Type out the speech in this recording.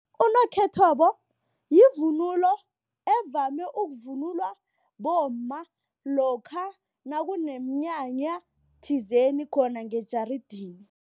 Unokhethwabo yivunulo evame ukuvunulwa bomma lokha nakuneminyanya thizeni khona ngejarideni.